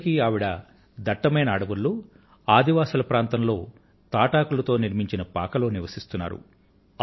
ఇప్పటికీ ఆవిడ దట్టమైన అడవులలో ఆదివాసుల ప్రాంతంలో తాటాకులతో నిర్మించిన పాకలో నివసిస్తున్నారు